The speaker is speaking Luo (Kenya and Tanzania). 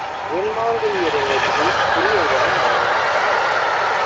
gwen maonge yier e ngutgi iluongo nango?